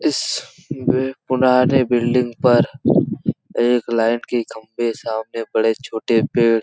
इसबे पुनारे बिल्डिंग पर एक लाइन के खम्भे सामने बड़े-छोटे पेड़--